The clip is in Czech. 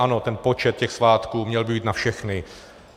Ano, ten počet těch svátků - měl by být na všechny.